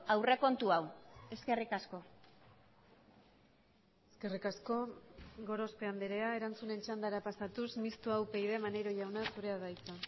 aurrekontu hau eskerrik asko eskerrik asko gorospe andrea erantzunen txandara pasatuz mistoa upyd maneiro jauna zurea da hitza